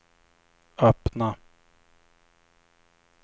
öppna